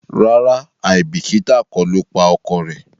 ràrá aibikita kò lọ pa ọkọ rẹ